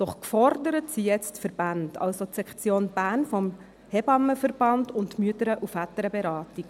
Doch gefordert sind jetzt die Verbände, also die Sektion Bern des SHV und des MVB.